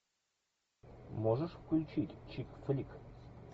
можешь включить чик флик